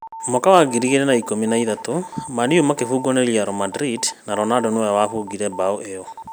Mwaka wa ngiri igĩrĩ na ikũmi na ithatũ Man-U makĩbungwo nĩ Real Madrid na Ronaldo nĩwe wabungire mbaũ ĩyo